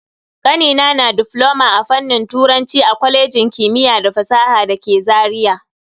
Kanina na difloma a fannin turanci a kwalejin kimiyya da fasaha dake Zaria.